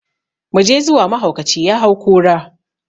Mu je zuwa, mahaukaci ya hau kura!